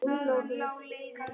Lífsins dýrmæta gjöf.